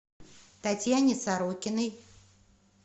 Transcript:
татьяне сорокиной